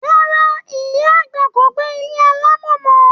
Rárá, iya agba ko gbe ilé alamo mọ.